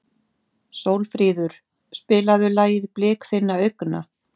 Sólfríður, spilaðu lagið „Blik þinna augna“.